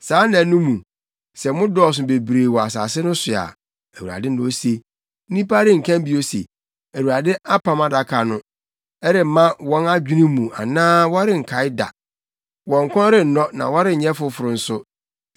Saa nna no mu, sɛ mo dɔɔso bebree wɔ asase no so a,” Awurade na ose, “nnipa renka bio se, ‘ Awurade apam adaka no.’ Ɛremma wɔn adwene mu anaa wɔrenkae da; wɔn kɔn rennɔ na wɔrenyɛ foforo nso.